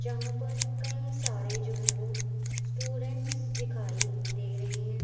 यहां पर काई सारे जो हैं वो स्टूडेंट्स दिखाई दे रहे हैं।